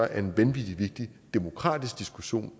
er en vanvittig vigtig demokratisk diskussion